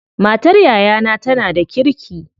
Matar yayana tana da kirki.